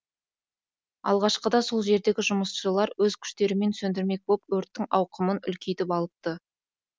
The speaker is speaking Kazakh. алғашқыда сол жердегі жұмысшылар өз күштерімен сөндірмек боп өрттің ауқымын үлкейтіп алыпты